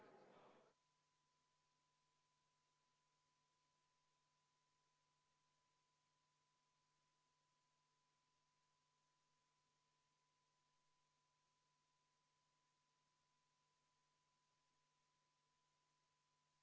Ja ma palun ettekandjaks maaelukomisjoni esimehe Tarmo Tamme.